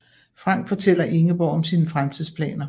Frank fortæller Ingeborg om sine fremtidsplaner